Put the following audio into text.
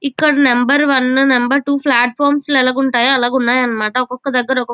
ఇక్కడ number one number two platforms ఎలా గుంటయ్ అలాగా ఉన్నాయి అన్నమాట ఒక్కొక దగ్గర ఒకొక్క --